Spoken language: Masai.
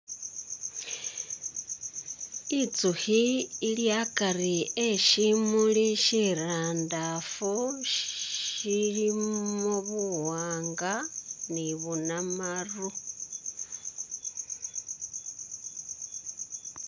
Itsukhi ili akari e shimuli shirandafu shilimo buwanga ni bunamaru.